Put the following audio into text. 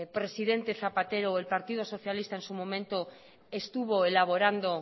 presidente zapatero o el partido socialista en su momento estuvo elaborando